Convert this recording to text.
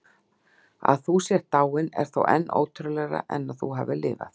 Að þú sért dáin er þó enn ótrúlegra en að þú hafir lifað.